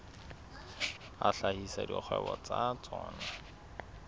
a hlahisa dikgwebo tsa tsona